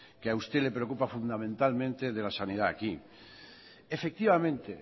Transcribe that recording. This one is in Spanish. que a usted le preocupa fundamentalmente de la sanidad aquí efectivamente